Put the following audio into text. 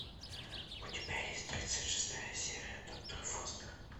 у тебя есть тридцать шестая серия доктор фостер